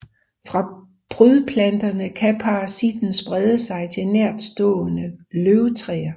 Fra prydplanterne kan parasitten sprede sig til nærtstående løvtræer